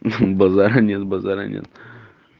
базара нет базара нет